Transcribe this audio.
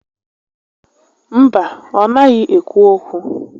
Mba, ọ naghị ékwú ókwú